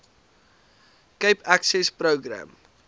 cape access program